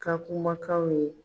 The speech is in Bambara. Ka kumakanw ye.